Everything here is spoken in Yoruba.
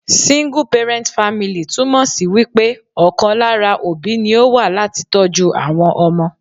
Single parent family ' túmò sí wípé ọ̀kan lára òbí ni ó wà láti tọ́jú àwọn ọmọ